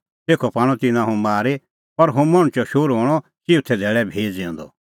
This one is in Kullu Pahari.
तेखअ पाणअ तिन्नां हुंह मारी पर हुंह मणछो शोहरू हणअ चिऊथै धैल़ै भी ज़िऊंदअ